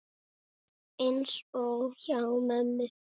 Eins og hjá mömmu.